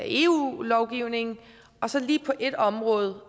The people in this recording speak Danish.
eu lovgivningen og så lige på et område